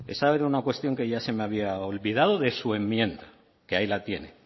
esa era una cuestión que ya se me había olvidado de su enmienda que ahí la tiene